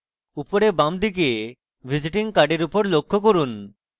উপরে বাঁদিকে visiting card উপর লক্ষ্য করুন